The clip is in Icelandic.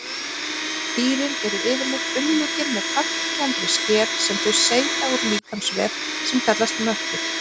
Dýrin eru yfirleitt umlukin með kalkkenndri skel sem þau seyta úr líkamsvef sem kallast möttull.